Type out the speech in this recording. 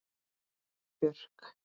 Gyða Björk.